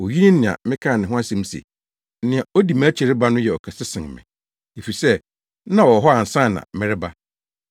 Oyi ne nea mekaa ne ho asɛm se, ‘Nea odi mʼakyi reba no yɛ ɔkɛse sen me, efisɛ na ɔwɔ hɔ ansa na mereba.’